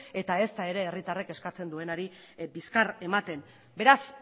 eta ezta ere herritarrek eskatzen duenari bizkar ematen beraz